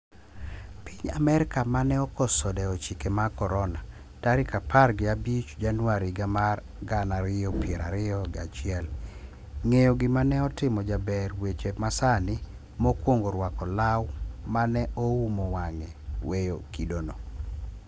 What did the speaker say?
piny amerkamane okoso dewochike mag korona, tarik apar gi abich januari higa mar gana ariyo piro ariyo gi achiel, ng'eyo gima ne otimo jaber weche masani mokwongorwako law mane oumo wang'e weyo kidono.